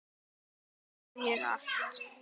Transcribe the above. Nú á ég allt.